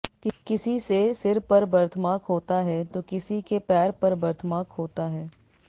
किसी से सिर पर बर्थमार्क होता है तो किसी के पैर पर बर्थमार्क होता है